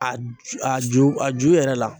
A ju a ju a ju yɛrɛ la